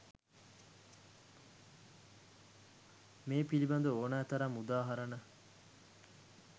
මේ පිළිබඳ ඕනෑ තරම් උදාහරණ